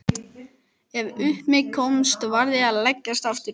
Ef upp um mig komst varð ég að leggjast aftur.